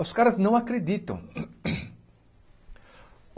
Os caras não acreditam.